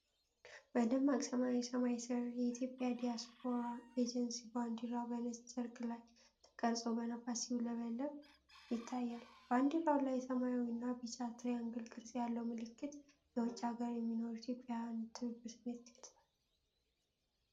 በደማቅ ሰማያዊ ሰማይ ሥር፣ የኢትዮጵያ ዲያስፖራ ኤጀንሲ ባንዲራ በነጭ ጨርቅ ላይ ተቀርጾ በነፋስ ሲውለበለብ ይታያል። በባንዲራው ላይ ሰማያዊና ቢጫ ትሪያንግል ቅርጽ ያለው ምልክት፣ የውጭ አገር የሚኖሩ ኢትዮጵያውያን የትብብር ስሜት ይገልጻል።